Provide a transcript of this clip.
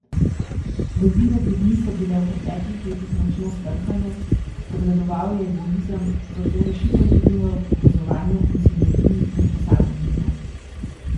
Vezi med ljudmi so bile v preteklih letih močno skrhane, prevladoval je egoizem, zato rešitev vidim v povezovanju in sinergiji med posamezniki.